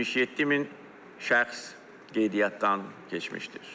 77 min şəxs qeydiyyatdan keçmişdir.